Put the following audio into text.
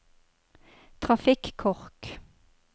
trafikkork